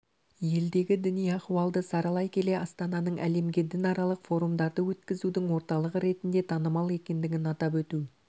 елдегі діни ахуалды саралай келе астананың әлемге дінаралық форумдарды өткізудің орталығы ретінде танымал екендігін атап өту